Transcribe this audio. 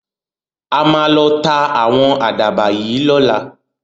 A máa lọ ta ạ̀wọn àdàbà yìí lọ́la.